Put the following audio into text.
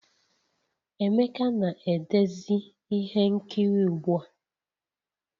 Emeka na-edezi ihe nkiri ugbu a